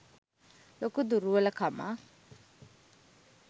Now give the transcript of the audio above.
ලොකු දුරුවල කමක්.